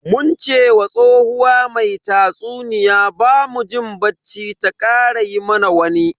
Mun ce wa tsohuwa mai tatsuniya bamu jin bacci ta kara yi mana wani.